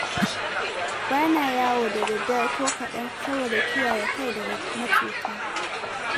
Bana yawo da daddare ko kaɗan, sadoda kiyaye kai daga macuta.